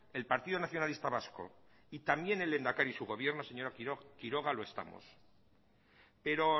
el partido nacionalista vasco y también el lehendakari y su gobierno señora quiroga lo estamos pero